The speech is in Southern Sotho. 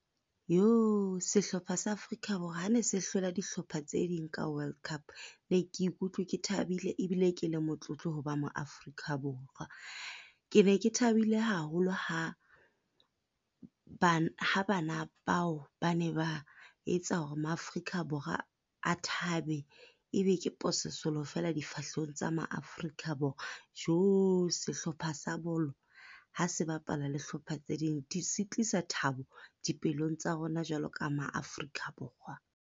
Sehlopha sa Afrika Borwa ha ne se hlola dihlopha tse ding ka World Cup, be ke ikutlwe ke thabile ebile ke le motlotlo ho ba mo-Afrika Borwa. Ke ne ke thabile haholo ha ha bana bao ba ne ba etsa hore ma-Afrika Borwa a thabe e be ke pososelo feela difahlehong tsa ma-Afrika Borwa. Sehlopha sa bolo ha se bapala le hlopha tse ding, di se tlisa thabo dipelong tsa rona, jwalo ka ma-Afrika Borwa.